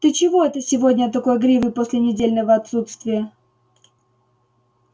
ты чего это сегодня такой игривый после недельного отсутствия